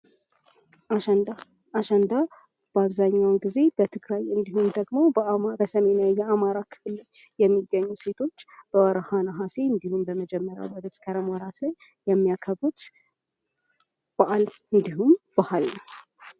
አሸንዳ:- አሸንዳ በአብዛኛዉን ጊዜ በትግራይ እንዲሁም ደግሞ በአማራ በሰሜናዊ የአማራ ክፍል የሚገኙ ሴቶች በወርሃ ነሐሴ እንዲሁም በመጀመሪያዉ የመስከረም ወራት ላይ የሚያከብሩት በዓል እንዲሁም ባህል ነዉ።